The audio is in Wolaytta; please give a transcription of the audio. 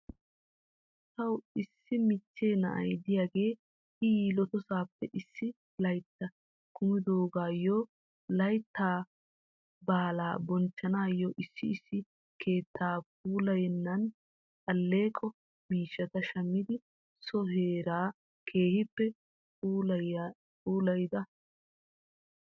Taw issi michchee na'a diyaagee i yeletoosappe issi laytta kumidaagaayyo laytta baalaa bonchchanaayo issi issi keettaa puulayiyaanne aleeqo miishata shammidi so heeraa keehippe puulayida.